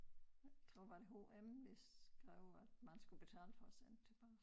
Tror var det H M hvis skrev at man skulle betale for at sende tilbage